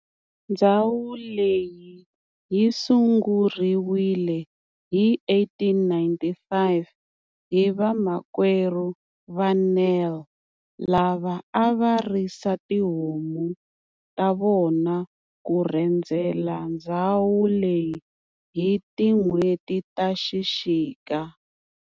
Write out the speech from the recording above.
Ndzhawu leyi yisunguriwile hi 1895 hi vamakwerhu va Nel lava ava risa tihomu ta vona ku rhendzela ndzhawu leyi hi tinhweti ta xixika.